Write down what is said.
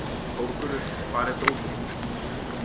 Þórgunnur, hvar er dótið mitt?